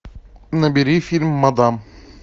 набери фильм мадам